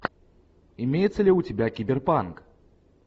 имеется ли у тебя киберпанк